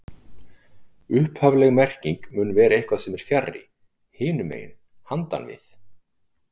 Upphafleg merking mun vera eitthvað sem er fjarri, hinum megin, handan við